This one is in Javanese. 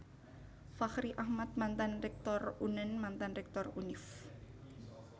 Fachri Ahmad Mantan Rektor Unand Mantan Rektor Univ